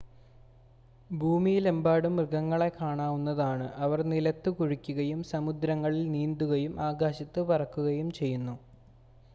ഭൂമിയിലെമ്പാടും മൃഗങ്ങളെ കാണാവുന്നതാണ് അവർ നിലത്ത് കുഴിക്കുകയും സമുദ്രങ്ങളിൽ നീന്തുകയും ആകാശത്ത് പറക്കുകയും ചെയ്യുന്നു